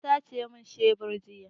An sace min shebur jiya.